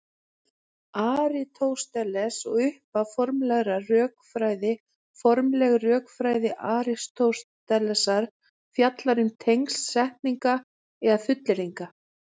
Aristóteles og upphaf formlegrar rökfræði Formleg rökfræði Aristótelesar fjallar um tengsl setninga eða fullyrðinga.